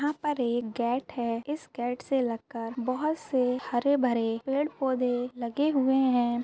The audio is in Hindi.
यहा पर एक गेट है इस गेट से लगकर बहुत से हरे भरे पेड़ पौधे लगे हुए हैं।